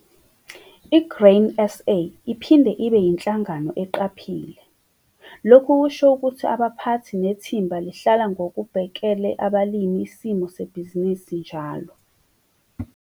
i-Grain SA iphinde ibe yinhlangano eqaphile. Lokhu kusho ukuthi abaphathi nethimba lihlala ngokubhekele abalimi isimo sebhizinisi njalo.